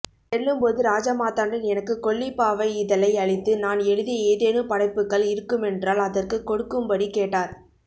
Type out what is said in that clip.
செல்லும்போது ராஜமார்த்தாண்டன் எனக்கு கொல்லிப்பாவை இதழை அளித்து நான் எழுதிய ஏதேனும் படைப்புக்கள் இருக்குமென்றால் அதற்குக் கொடுக்கும்படிக் கேட்டார்